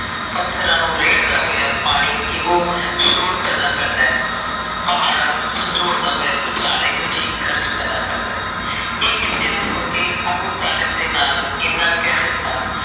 ਪੱਥਰਾਂ ਨੂੰ ਰੇੜਦਾ ਹੋਇਆਂ ਪਾਣੀ ਇਹੋ ਛੋੜ ਪੈਦਾ ਕਰਦਾ ਹੈ। ਪਹਾੜਾਂ ਨੂੰ ਝੰਜੋੜਦਾ ਹੋਈਆਂ ਭੁਚਾਲ ਇਹੋ ਜਿਹੀ ਗਰਜ਼ ਪੈਦਾ ਕਰਦਾ ਹੈ। ਇਹ ਕਿਸੇ ਨੂੰ ਸੁਨ ਕੇ ਆਬੂ ਤਾਲੁ ਦੇ ਨਾਲ